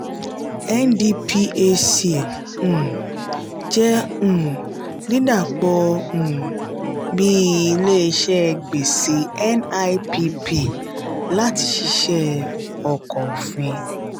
ndphc um jẹ́ um dídàpọ̀ um bíi ilé-iṣẹ́ gbèsè nipp láti ṣiṣẹ́ ọkọ̀ òfin